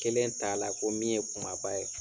Kelen t'a la ko min ye kumaba ye